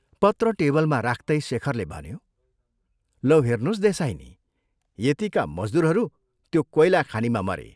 पत्र टेबलमा राख्तै शेखरले भन्यो, "लौ हेर्नोस् देसाईनी, यतिका मजदूरहरू त्यो कोइलाखानिमा मरे।